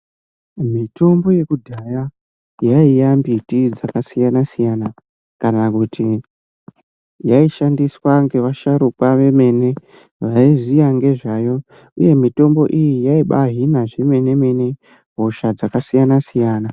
Mitombo yekudhaya yaiya mbiti dzakasiyana siyana kana kuti yaishandiswa ngevasharukwa vemene vaiziya nezvayo, uye mitombo iyi yaibaihina zvemene mene hosha dzakasiyana -siyana.